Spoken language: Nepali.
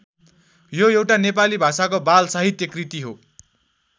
यो एउटा नेपाली भाषाको बाल साहित्य कृति हो।